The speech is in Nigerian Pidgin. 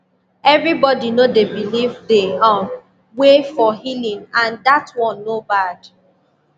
everybody no dey believe the um way for healing and that one no bad